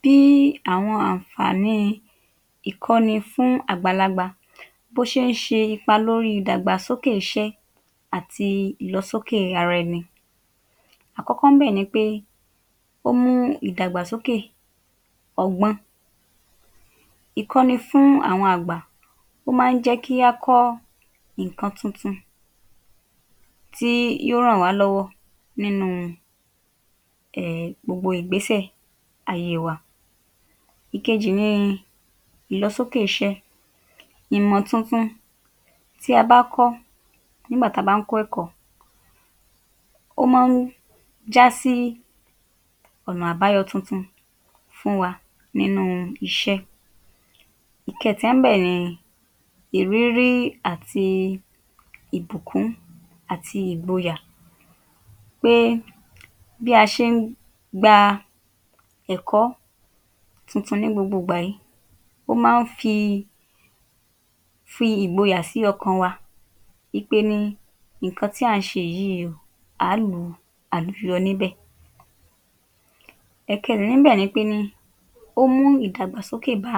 Bí àwọn àǹfààní ìkọ́ni fún àgbàlagbà bó ṣe ń ṣe ipa lórí ìdàgbàsókè iṣẹ́ àti ìlọsókè ara ẹni Àkọ́kọ́ ńbẹ̀ ni pé ó mú ìdàgbàsókè ọgbọ́n. Ìkọ́ni fún àwọn àgbà: Ó má ń jẹ́ kí á kọ́ ǹkan tuntun tí yó ràn wá lọ́wọ́ nínú um gbogbo ìgbésẹ̀ ayé wa. Ìkejì ni ìlọsókè iṣẹ́. Ìmọ̀ tuntun tí a bá kọ́ nígbà tí a bá ń kọ́ ẹ̀kọ́, ó má ń já sí ọ̀nà àbáyọ tuntun fún wa níbi iṣẹ́. Ìkẹẹ̀ta ńbẹ̀ ni ìrírí àti ìbùkún àti ìgboyà pé bí a ṣe ń gba ẹ̀kọ́ tuntun ní gbogbo ìgbà yìí, ó má ń fi fi ìgboyà sí ọkàn wa ípé ní ǹkan tí à ń ṣe yìí, àá lu àlùyọ níbẹ̀. Ẹ̀kẹẹ̀rin ńbẹ̀ ni pé ní ó mú ìdàgbàsókè bá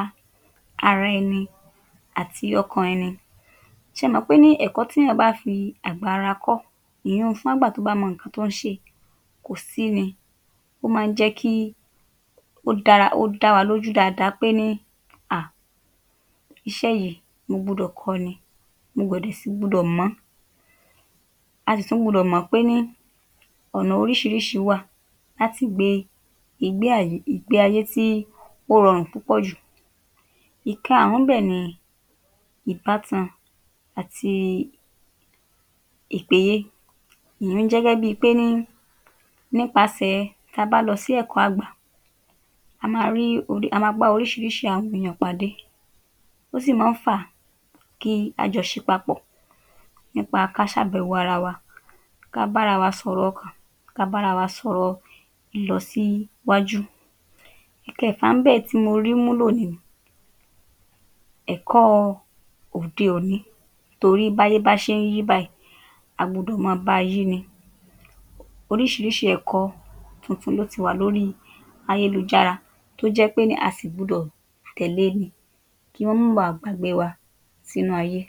ara ẹni àti ọkàn èni. Ṣé ẹ mọ̀ ípé ní ẹ̀kọ́ téyàn bá fi àgbà ara kọ́, ìyún-un fún àgbà tó bá mọ ǹkan tó ń ṣe, kò sì ní, ó má ń jẹ́ kí ó dára kó dáwalójú dáadáa pé ní um iṣẹ́ yìí mo gbudọ̀ kọ́ ọ ni, mo dẹ̀ sì, mo gbúdọ̀ mọ̀ ọ́n. A sì tún gbúdọ̀ mọ̀ pé ní ọ̀nà oríṣiiríṣii wà láti gbé ìgbé àyé ìgbé ayé tí ó rọrùn púpọ̀ jù. Ìkaàrún ńbẹ̀ ni ìbátan àti? ìyẹn jẹ́ gẹ́gẹ́ bíi pé ní nípasẹ̀ tí a bá lọ sí ẹ̀kọ́ àgbà, a máa rí, a máa bá oríṣiiríṣii àwọn èyàn pàdé. Ó sì má ń fa a kí á jọ ṣe papọ̀ nípa ká ṣàbẹ̀wò ara wa, ká bàra wa sọ̀rọ̀ ọkàn, ká bára wa sọ̀rọ̀ lílọ síwájú. Ìkẹẹ̀fà ńbẹ̀ tí mo rí múlò ni ẹ̀kọ́ òde òní torí báyé bá ṣe ń yí báyìí, a gbudọ̀ máa báa yí ni. Oríṣiiríṣii ẹ̀kọ́ tuntun ló ti wà lórí ayélujára tó jẹ́ pé ní a sì gbudọ̀ tẹ̀lé e ni kí wọ́n mọ́ baà gbàgbé wa sínú ayé.